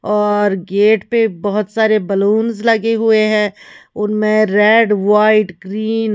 और गेट पे बहोत सारे बलूंस लगे हुए हैं उनमें रेड व्हाइट ग्रीन --